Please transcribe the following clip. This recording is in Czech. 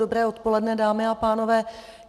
Dobré odpoledne, dámy a pánové.